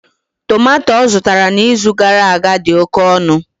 Tomato ọ zụtara n'izu gara aga dị oke ọnụ.